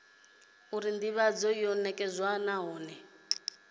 uri ndivhadzo yo nekedzwa nahone